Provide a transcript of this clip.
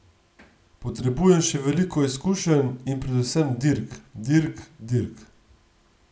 Potrebujem še veliko izkušenj in predvsem dirk, dirk, dirk ...